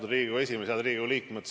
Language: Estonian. Head Riigikogu liikmed!